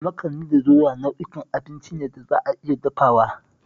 Makani da doya nau'ukan abinci ne da za a iya dafawa